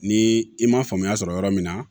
Ni i ma faamuya sɔrɔ yɔrɔ min na